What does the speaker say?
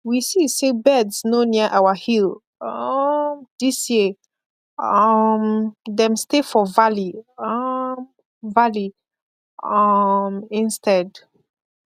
we see say birds no near our hill um this year um dem stay for valley um valley um instead